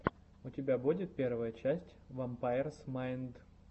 у тебя будет первая часть вампайрс майнд